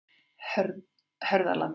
Hörðalandi